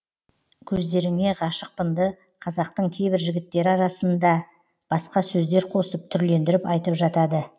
көздеріңе ғашықпынды қазақтың кейбір жігіттері арасына басқа сөздер қосып түрлендіріп айтып жатады